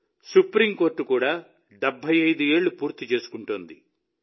supreme court కూడా 75 ఏళ్లు పూర్తి చేసుకుంటోంది